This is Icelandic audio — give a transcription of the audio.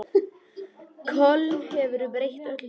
Köln hefur breytt öllu.